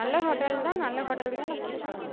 நல்ல hotel தா நல்ல hotel குதான கூட்டிட்டுப் போறோ.